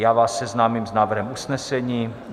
Já vás seznámím s návrhem usnesení.